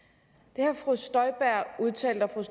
det har fru støjberg udtalt og